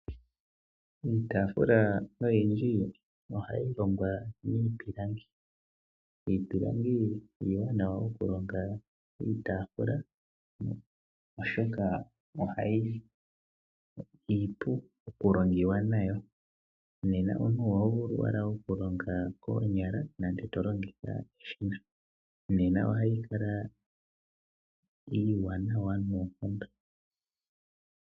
Iitaafula oyindji ohayi longwa miipilangi. Iipilangi iiwanawa okulonga iitaafula, oshoka iipu okulongiwa nayo. Nena omuntu oho vulu owala okulonga koonyaka nenge to longitha eshina, nena ohayi kala iiwanawa noonkondo.